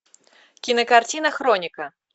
кинокартина хроника